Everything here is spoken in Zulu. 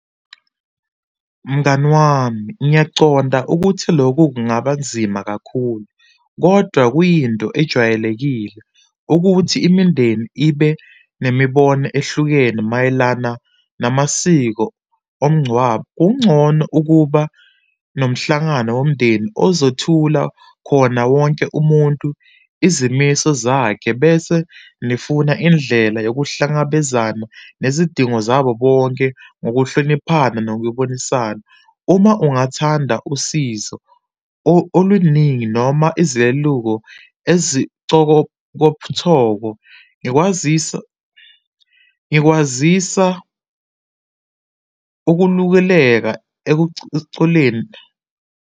Mngani wami, ngiyaconda ukuthi lokhu kungaba nzima kakhulu, kodwa kuyinto ejwayelekile ukuthi imindeni ibe nemibono ehlukene mayelana namasiko omngcwabo. Kungcono ukuba nomhlangano womndeni ozothula khona wonke umuntu izimiso zakhe bese nifuna indlela yokuhlangabezana nezidingo zabo bonke, ngokuhloniphana nokubonisana. Uma ungathanda usizo oluningi noma , ngikwazisa ngikwazisa ukulukeleka .